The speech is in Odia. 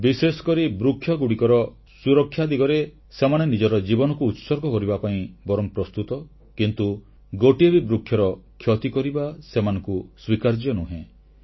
ବିଶେଷକରି ବୃକ୍ଷଗୁଡ଼ିକରେ ସୁରକ୍ଷା ଦିଗରେ ସେମାନେ ନିଜ ଜୀବନକୁ ଉତ୍ସର୍ଗ କରିବା ପାଇଁ ବରଂ ପ୍ରସ୍ତୁତ କିନ୍ତୁ ଗୋଟିଏ ବି ବୃକ୍ଷର କ୍ଷତି କରିବା ସେମାନଙ୍କୁ ସ୍ୱୀକାର୍ଯ୍ୟ ନୁହେଁ